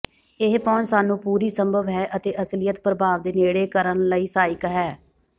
ਇਹ ਪਹੁੰਚ ਸਾਨੂੰ ਪੂਰੀ ਸੰਭਵ ਹੈ ਅਤੇ ਅਸਲੀਅਤ ਪ੍ਰਭਾਵ ਦੇ ਨੇੜੇ ਕਰਨ ਲਈ ਸਹਾਇਕ ਹੈ